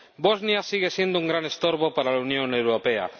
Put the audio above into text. Bosnia sigue siendo un gran estorbo para la Unión Europea.